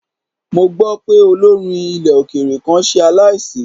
Mo gbọ́ pé olórin ilẹ̀ òkèèrè kan ṣe aláìsí.